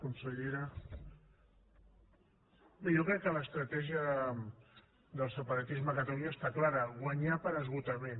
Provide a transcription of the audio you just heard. consellera bé jo crec que l’estratègia del separatisme a catalunya està clara guanyar per esgotament